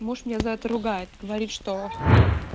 муж меня за это ругают говорит что